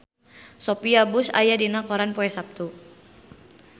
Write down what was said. Sophia Bush aya dina koran poe Saptu